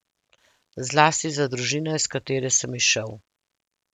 Zlasti za družino, iz katere sem izšel.